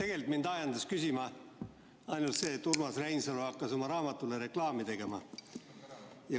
Tegelikult mind ajendas küsima ainult see, et Urmas Reinsalu hakkas oma raamatule reklaami tegema.